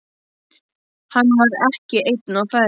Hann var ekki einn á ferð.